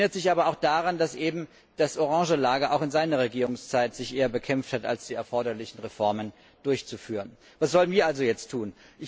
Sie erinnert sich aber auch daran, dass sich eben das orange Lager auch in seiner Regierungszeit eher bekämpft hat, als die erforderlichen Reformen durchzuführen. Was sollen wir also jetzt tun?